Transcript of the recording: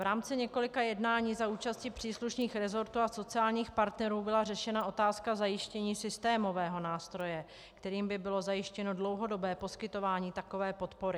V rámci několika jednání za účasti příslušných resortů a sociálních partnerů byla řešena otázka zajištění systémového nástroje, kterým by bylo zajištěno dlouhodobé poskytování takové podpory.